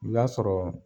I b'a sɔrɔ